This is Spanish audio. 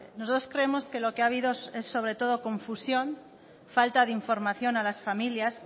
nosotros creemos que lo que ha habido es sobre todo confusión falta de información a las familias